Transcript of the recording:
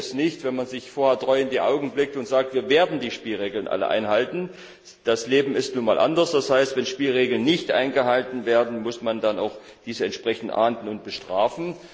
Da genügt es nicht, wenn man sich vorher treu in die Augen blickt und sagt, wir werden die Spielregeln alle einhalten. Das Leben ist nun einmal anders. Das heißt, wenn Spielregeln nicht eingehalten werden, muss man das auch entsprechend ahnden und bestrafen.